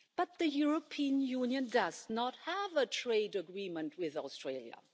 But the European Union does not have a trade agreement with Australia.